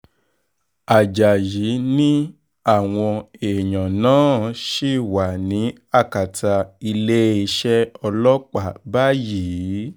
ajáyí ni àwọn èèyàn náà ṣì wà ní akátá iléeṣẹ́ ọlọ́pàá báyìíì